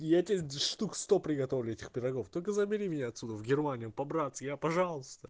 и я тебе штук сто приготовлю этих пирогов только забери меня отсюда в германию по-братски я пожалуйста